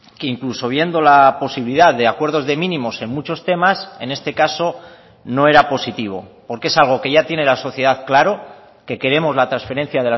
que incluso viendo la posibilidad de acuerdos de mínimos en muchos temas en este caso no era positivo porque es algo que ya tiene la sociedad claro que queremos la transferencia